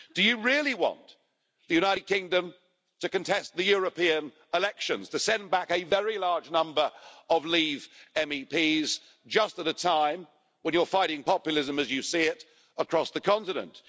Do you really want the United Kingdom to contest the European elections to send back a very large number of Leave MEPs, just at a time when you're fighting populism, as you see it, across the continent?